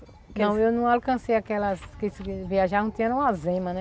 Não, eu não alcancei aquelas que se viajavam tinham uma zema, né?